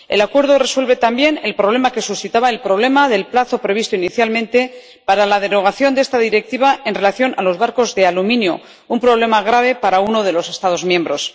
El acuerdo resuelve también el problema que suscitaba el plazo previsto inicialmente para la derogación de esta Directiva en relación con los barcos de aluminio, un problema grave para uno de los Estados miembros.